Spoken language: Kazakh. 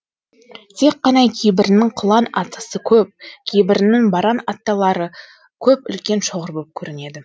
тек қана кейбірінің қылаң аттысы көп кейбірінің баран аттылары көп үлкен шоғыр боп көрінеді